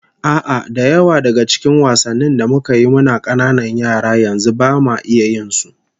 A'a, da yawa daga cikin wasannin da muka yi muna kananan yara, yanzu bama iya yin su